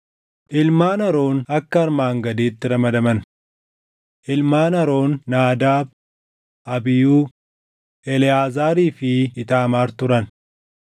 Ilmaan Aroon akka armaan gadiitti ramadaman: Ilmaan Aroon Naadaab, Abiihuu, Eleʼaazaarii fi Iitaamaar turan.